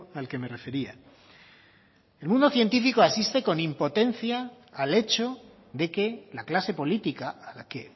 al que me refería el mundo científico asiste con impotencia al hecho de que la clase política a la que